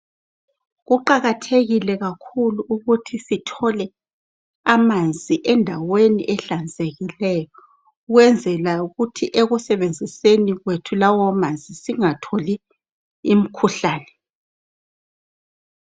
Kuqakathekile kakhulu ukuthi sithole amanzi endaweni ehlanzekileyo, ukwenzela ukuthi ekusebenziseni kwethu lawo manzi singatholi umkhuhlane.